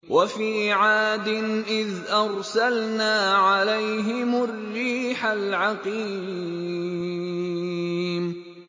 وَفِي عَادٍ إِذْ أَرْسَلْنَا عَلَيْهِمُ الرِّيحَ الْعَقِيمَ